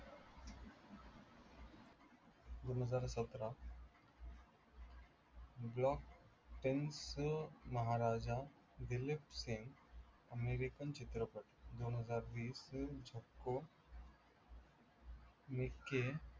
दोनहजार सतरा block tenth Maharaja Dilip Singh American चित्रपट दोनहजार वीस निक्की